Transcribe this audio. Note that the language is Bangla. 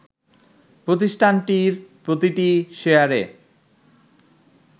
প্রতিষ্ঠানটির প্রতিটি শেয়ারে